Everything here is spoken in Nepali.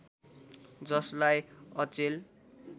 जसलाई अचेल